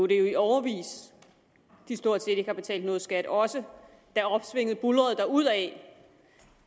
i årevis at de stort set ikke har betalt nogen skat også da opsvinget buldrede derudad